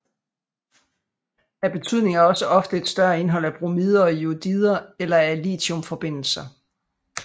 Af betydning er også ofte et større indhold af bromider og jodider eller af lithiumforbindelser